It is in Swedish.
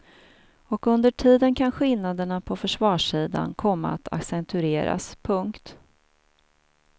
Och under tiden kan skillnaderna på försvarssidan komma att accentueras. punkt